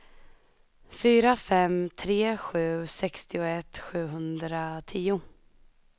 fyra fem tre sju sextioett sjuhundratio